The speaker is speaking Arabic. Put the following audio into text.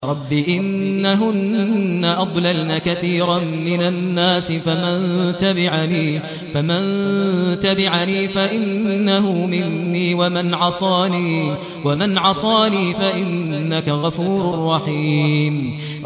رَبِّ إِنَّهُنَّ أَضْلَلْنَ كَثِيرًا مِّنَ النَّاسِ ۖ فَمَن تَبِعَنِي فَإِنَّهُ مِنِّي ۖ وَمَنْ عَصَانِي فَإِنَّكَ غَفُورٌ رَّحِيمٌ